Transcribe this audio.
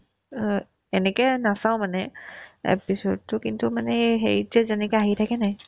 অ, এনেকে নাচাও মানে episode তো কিন্তু মানে এই হেৰিতে যে যেনেকে আহি থাকেনে নাই